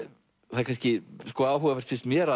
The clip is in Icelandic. það er kannski sko áhugavert finnst mér